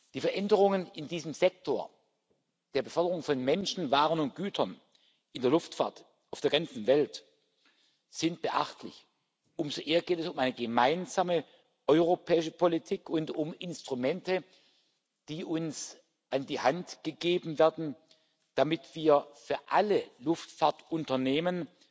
Die Veränderungen in diesem Sektor der Beförderung von Menschen, Waren und Gütern in der Luftfahrt auf der ganzen Welt sind beachtlich. Umso mehr geht es um eine gemeinsame europäische Politik und um Instrumente, die uns an die Hand gegeben werden, damit wir für alle Luftfahrtunternehmen